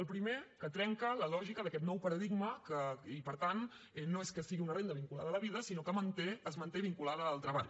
el primer que trenca la lògica d’aquest nou paradigma i per tant no és que sigui una renda vinculada a la vida sinó que es manté vinculada al treball